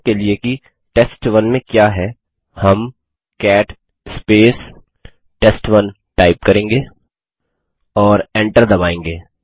देखने के लिए कि टेस्ट1 में क्या है हम कैट टेस्ट1 करेंगे और एंटर दबायेंगे